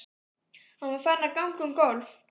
Hann var farinn að ganga um gólf.